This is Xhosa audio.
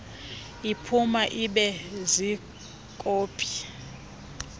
liphuma libe ziikopi